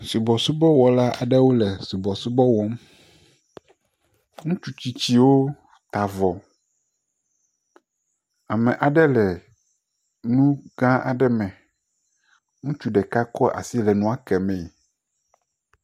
Subɔsubɔwɔla aɖewo le subɔsubɔ wɔm, ŋutsutsitsiwo ta avɔ, ame aɖe le nu gã aɖe me, ŋutsu ɖeka kɔ asi le nua ke mee